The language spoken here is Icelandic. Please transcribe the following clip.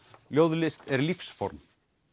ljóðlist er lífsform